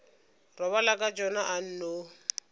robala ka tšona a nno